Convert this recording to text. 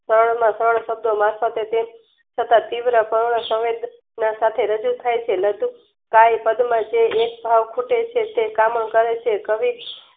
સરળ માં સરળ શબ્દો વાંચતાતે છતાં તીવ્ર પર્ણ સમીપે ના સાથે રજુ થઈ છે. મધુ કાઈ પદ માં જે હેત ભાવ ખૂટે છે. તે કામ કરે છે. કવિ